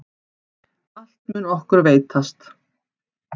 Allt mun okkur veitast.